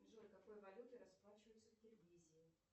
джой какой валютой расплачиваются в киргизии